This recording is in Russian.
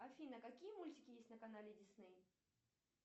афина какие мультики есть на канале дисней